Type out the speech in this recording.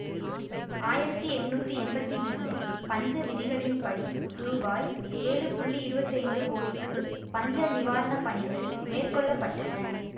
ஆயிரத்தி எட்ணூத்தி எம்பத்தி மூனு பஞ்ச விதிகளின் படி ரூபாய் ஏழு புள்ளி இருவத்தி ஐந்து கோடிக்கு பஞ்ச நிவாரண பணிகள் மேற்கொள்ள பட்டன